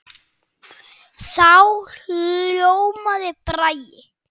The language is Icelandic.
Þá ljómaði Bragi.